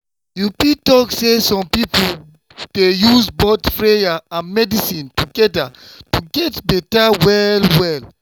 you fit talk say some people dey use both prayer and medicine together to take get better well-well.